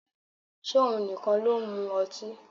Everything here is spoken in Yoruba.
Ṣé òun nìkan ló ń mu ọtí?